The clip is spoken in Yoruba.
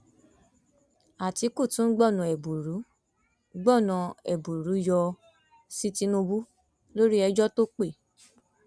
àtìkù tún gbọnà ẹbùrú gbọnà ẹbùrú yọ sí tìǹbù lórí ẹjọ tó pé